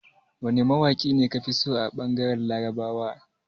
Wane mawaƙi ka fi so a ɓangaren Larabawa?